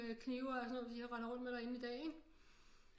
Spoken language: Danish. Med knive og alt sådan noget de render rundt med derinde i dag ikke